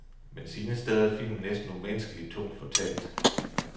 Men sine steder er filmen næsten umenneskelig tungt fortalt.